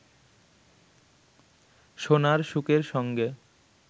সোনার শুকের সঙ্গে